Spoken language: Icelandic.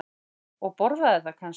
Og borðaði það kannski?